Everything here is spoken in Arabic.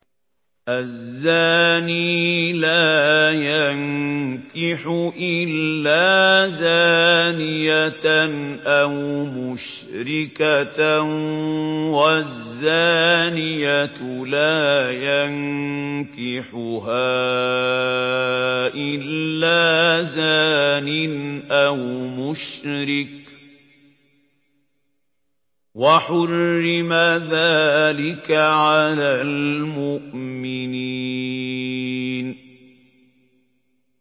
الزَّانِي لَا يَنكِحُ إِلَّا زَانِيَةً أَوْ مُشْرِكَةً وَالزَّانِيَةُ لَا يَنكِحُهَا إِلَّا زَانٍ أَوْ مُشْرِكٌ ۚ وَحُرِّمَ ذَٰلِكَ عَلَى الْمُؤْمِنِينَ